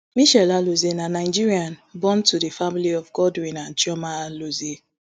michelle alozie na nigerian born to di family of godwin and chioma alozie